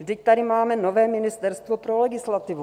Vždyť tady máme nové ministerstvo pro legislativu.